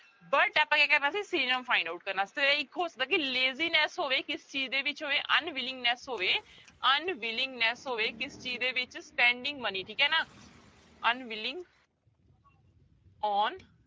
But ਆਪਾਂ ਕਿਆ ਕਰਨਾ ਸੀ synonym find out ਕਰਨਾ ਤੇ ਇੱਕ ਹੋ ਸਕਦਾ ਕਿ laziness ਹੋਵੇ ਕਿਸ ਚੀਜ਼ ਦੇ ਵਿੱਚ ਹੋਵੇ unwillingness ਹੋਵੇ unwillingness ਹੋਵੇ ਕਿਸ ਚੀਜ਼ ਦੇ ਵਿੱਚ spending money ਠੀਕ ਹੈ ਨਾ unwilling on